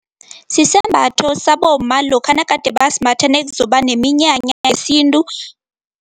Sisembatho sabomma lokha nagade basimbatha nekuzoba neminyanya yesintu.